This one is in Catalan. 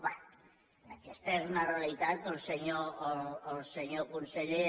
bé aquesta és una realitat que el senyor conseller